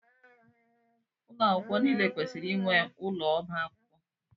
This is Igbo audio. Ụlọ akwụkwọ niile kwesịrị inwe ụlọ ọba akwụkwọ.